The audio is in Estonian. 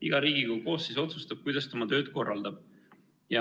Iga Riigikogu koosseis otsustab, kuidas ta oma tööd korraldab.